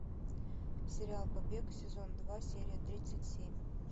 сериал побег сезон два серия тридцать семь